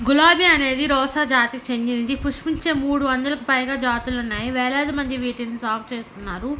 గులాబీ అనేది రోసా జాతికి చెందినది. పుష్పించే మూడు వందలకి పైగా జాతులున్నాయి. వేలాది మంది వీటిని సాగు చేస్తున్నారు.